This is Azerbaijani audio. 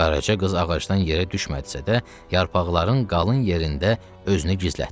Qaraca qız ağacdan yerə düşmədisə də, yarpaqların qalın yerində özünü gizlətdi.